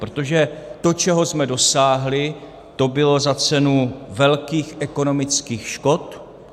Protože to, čeho jsme dosáhli, to bylo za cenu velkých ekonomických škod.